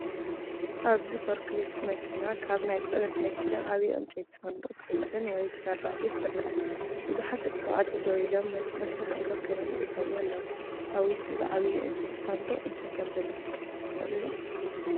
ኣብዚ ፎርክሊፍት መኪና ካብ ናይ ጽዕነት መኪና ዓቢይ ዕንጨይቲ ሳንዱቕ ክትጽዕን ወይ ከተራግፍ ትርአ። ቡዝሓት ደቂ ተባዕትዮ ደው ኢሎም ነቲ መስርሕ ኣተኲሮም ይዕዘብዎ ኣለዉ። ኣብ ውሽጢ እዚ ዓቢይ ዕንጨይቲ ሳንዱቕ እንታይ ከምዘሎ ክትግምቱ ትኽእሉ ዶ?